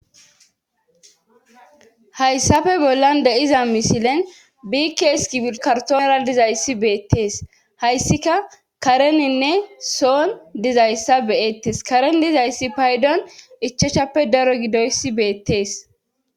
hayssafe bollan deiza misilen biikees kibikartoonera dizayssi beettees hayssika kareninne soon dizayssa beyettes karen dizayssi paydon ichochappe daro gidoyssi beettees